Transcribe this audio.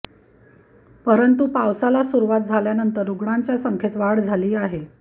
परंतू पावसाला सुरूवात झाल्यानंतर रुग्णांच्या संख्येत वाढ झाली आहे